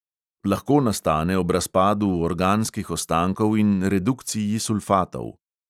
Lahko nastane ob razpadu organskih ostankov in redukciji sulfatov.